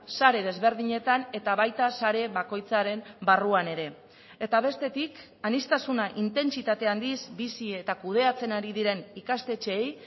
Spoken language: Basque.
sare desberdinetan eta baita sare bakoitzaren barruan ere eta bestetik aniztasuna intentsitate handiz bizi eta kudeatzen ari diren ikastetxeei